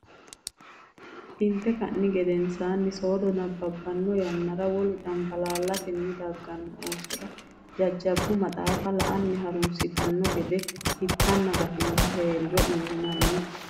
Inte ka ni gedensaanni soodo nabbabbanno yannara wole cambalaallitanni dagganno oosora jajjabbu maxaafa la anni ha runsitanno gede itanna gatinohu hee riro uynanni.